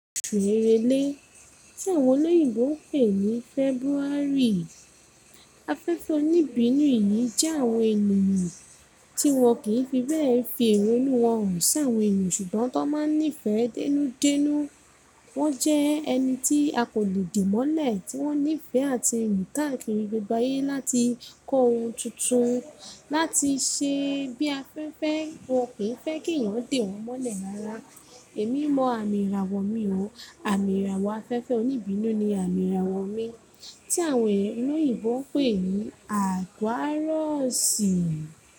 Oṣù Èrèlè, tí àwọn olóyìnbo ń pè ní February. Afẹ́fẹ́ oníbínú yìí jẹ́ àwọn ènìyàn tí wọn kì í fi bẹ́ẹ̀ fi èrò inú wọn hàn sí àwọn ènìyàn ṣùgbọ́n tó máa ń nífẹ̀ẹ́ dánúdánú. Wọ́n jẹ́ ẹni tí a kò lè dì mọ́lẹ̀, tí wọ́n nífẹ̀ẹ́ àti eniyan kakiri gbogbo áyé láti kọ ohun tuntun, láti ṣe bí a fẹ́ fẹ́, wọn kì í fẹ́ kí èèyàn dì wọ́n mọ́lẹ̀ rárá. Èmi mọ àmì ìràwọ̀ mi o. Àmì ìràwọ̀ afẹ́fẹ́ oníbínú ni àmì ìràwọ̀ mi tí àwọn olóyìnbo ń pè ní Aquarius.